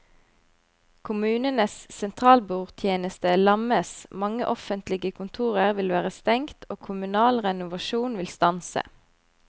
Kommunenes sentralbordtjeneste lammes, mange offentlige kontorer vil være stengt og kommunal renovasjon vil stanse.